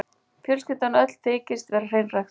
Fjölskyldan öll þykist vera hreinræktuð.